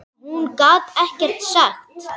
Hún gat ekkert sagt.